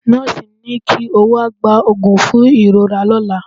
Nọ́ọ̀sì ni kí ó wá gba òògùn fún ìrora lọ́la.